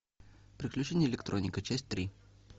приключения электроника часть три